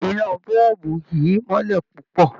Iná bọ̀ọ̀bù yìí mọ́lẹ̀ púpọ̀